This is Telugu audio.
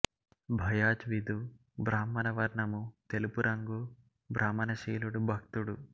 బయాజ్ విధు బ్రాహ్మణ వర్ణము తెలుపు రంగు భ్రమణశీలుడు భక్తుడు